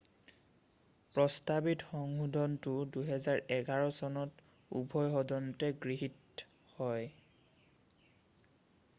প্ৰস্তাৱিত সংশোধনটো 2011 চনত উভয় সদনতে গৃহীত হয়